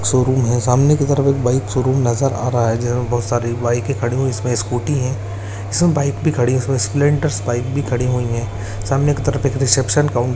showroom है सामने की तरफ एक बाइक शोरूम नजर आ रहा है जिसमें बहुत सारी बाइकें खड़ी इसमें स्कूटी हैं इसमें बाइक भी हैं इसमें स्प्लेंडर बाइक भी खड़ी हुई हैं सामने की तरफ एक रिसेप्शन काउं --